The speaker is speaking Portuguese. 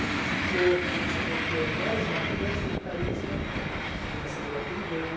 O que ficou, que nem você colocou, mais marcante foi o carisma, que eu não sou melhor que ninguém.